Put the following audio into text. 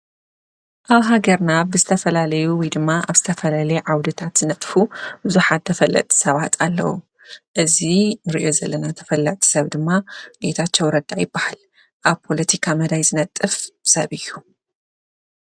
አብ ሃገርና ብዝተፈላለዩ ወይ ድማ አብ ዝተፈላለየ ዓውድታት ዝነጥፉ ብዙሓት ተፈለጥቲ ሰባት አለው። እዚ ንሪኦ ዘለና ተፈላጢ ሰብ ድማ ጌታቸው ረዳ ይበሃል። አብ ፖለቲካ መዳይ ዝነጥፍ ሰብ እዩ።